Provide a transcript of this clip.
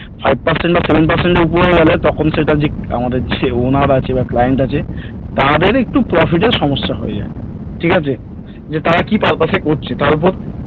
five percent বা seven percent এর উপরে গেলে তখন সেটা আমাদের যে owner আছে বা client আছে তাদের একটু profit এ সমস্যা হয়ে যায় ঠিক আছে যে তারা কি purpose এ করছে তার উপর